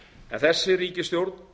en þessi ríkisstjórn